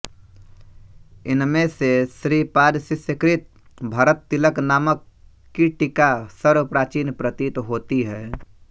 इनमें से श्रीपादशिष्यकृत भरततिलक नाम की टीका सर्वप्राचीन प्रतीत होती है